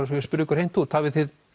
svo ég spyrji ykkur hreint út hafið þið